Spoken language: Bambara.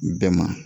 Bɛɛ ma